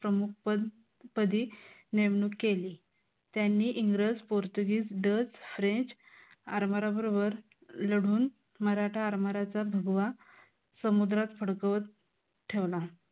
प्रमुख पद पदी नेमणूक केली. त्यांनी इंग्रज, पोर्तुगीज, डज, फ्रेंच, आरमारा बरोबर लढून मराठा आरमाराचा भगवा समुद्रात फडकवत ठेवला.